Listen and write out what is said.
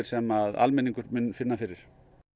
sem almenningur mun finna fyrir